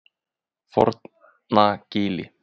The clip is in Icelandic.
Fornagili